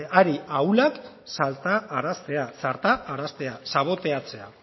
ari ahulak saltaraztea saltaraztea saboteatzea